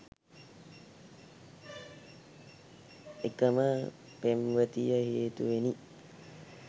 එකම පෙම්වතිය හේතුවෙනි